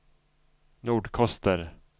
Nordkoster